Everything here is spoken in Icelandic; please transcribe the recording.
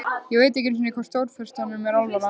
Ég veit ekki einu sinni hvort Stórfurstanum er alvara.